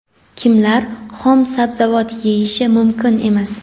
Kimlar xom sabzavot yeyishi mumkin emas?.